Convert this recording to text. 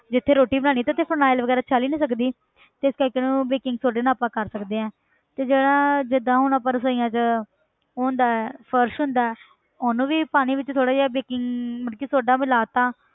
ਜਿੱਥੇ ਰੋਟੀ ਬਣਾਉਣੀ ਤੇ ਉੱਥੇ phenyl ਵਗ਼ੈਰਾ ਚੱਲ ਹੀ ਨੀ ਸਕਦੀ ਤੇ ਇਸ ਕਰਕੇ ਉਹਨਾਂ ਨੂੰ baking soda ਨਾਲ ਆਪਾਂ ਕਰ ਸਕਦੇ ਹਾਂ ਤੇ ਜਿਹੜਾ ਜਿੱਦਾਂ ਹੁਣ ਆਪਾਂ ਰਸੌਈਆਂ 'ਚ ਉਹ ਹੁੰਦਾ ਹੈ ਫ਼ਰਸ਼ ਹੁੰਦਾ ਹੈ ਉਹਨੂੰ ਵੀ ਪਾਣੀ ਵਿੱਚ ਥੋੜ੍ਹਾ ਜਿਹਾ baking ਮਤਲਬ ਕਿ soda ਮਿਲਾ ਦਿੱਤਾ,